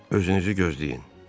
Özünüzü gözləyin.